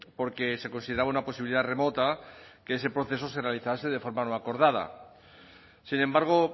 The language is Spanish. porque se consideraba una posibilidad remota que ese proceso se realizase de forma no acordada sin embargo